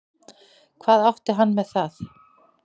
Hvað átti hann með það?